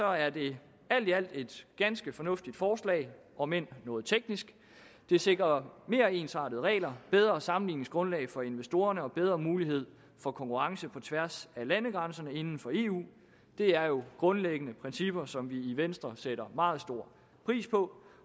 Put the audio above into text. er det alt i alt et ganske fornuftigt forslag om end noget teknisk det sikrer mere ensartede regler bedre sammenligningsgrundlag for investorerne og bedre mulighed for konkurrence på tværs af landegrænserne inden for eu det er jo grundlæggende principper som vi i venstre sætter meget stor pris på